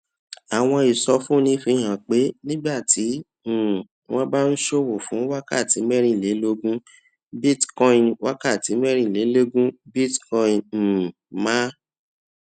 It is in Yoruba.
àwọn ìsọfúnni fi hàn pé nígbà tí um wọn bá ń ṣòwò fún wákàtí mérìnlélógún bitcoin wákàtí mérìnlélógún bitcoin um máa